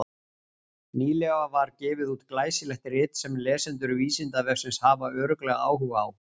Nýlega var gefið út glæsilegt rit sem lesendur Vísindavefsins hafa örugglega áhuga á.